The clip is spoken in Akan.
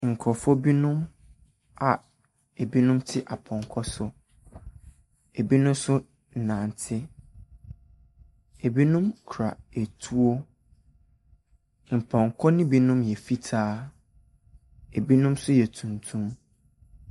Nkorɔfo binom a ebinom te pɔnkɔ so. Ebinom so nante. Ebinom kura etuo. Mpɔnkɔ no binom yɛ fitaa. Ebinom so yɛ tuntum.